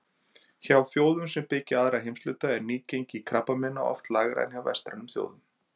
Hjá þjóðum sem byggja aðra heimshluta er nýgengi krabbameina oft lægra en hjá vestrænum þjóðum.